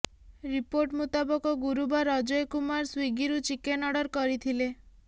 report ମୁତାବକ ଗୁରୁବାର ଅଜୟ କୁମାର ସ୍ୱିଗିରୁ ଚିକେନ୍ ଅର୍ଡର କରିଥିଲେ